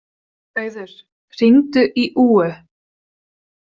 Auður, hringdu í Úu.